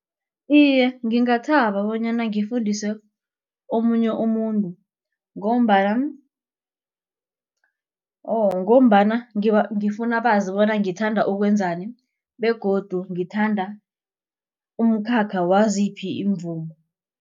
Iye, ngingathaba bonyana ngifundise omunye umuntu ngombana or ngombana ngifuna bazi bona ngithanda ukwenzani begodu ngithanda umkhakha waziphi iimvumi.